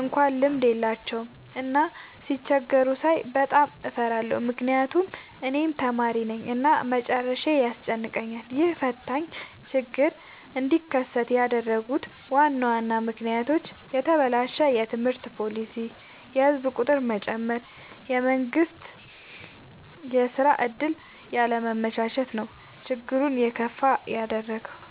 እንኳን ልምድ የላቸውም። እና ሲቸገሩ ሳይ በጣም እፈራለሁ ምክንያቱም እኔም ተማሪነኝ እና መጨረሻዬ ያስጨንቀኛል። ይህ ፈታኝ ችግር እንዲከሰት ያደረጉት ዋና ዋና ምክንያቶች፦ የተበላሸ የትምህርት ፓሊሲ፣ የህዝብ ቁጥር መጨመር፣ የመንግስት የስራ ዕድል ያለማመቻቸት ነው። ችግሩን የከፋ ያደረገው።